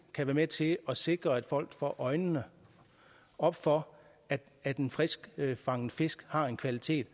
kan være med til at sikre at folk får øjnene op for at at en friskfanget fisk har en kvalitet